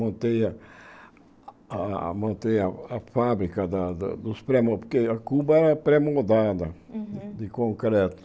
Montei a a montei a fábrica dos pré-moldados, porque a cuba era pré-moldada Uhum de concreto.